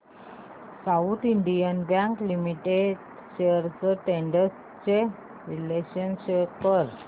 south Indian bank limited shares trends चे विश्लेषण show कर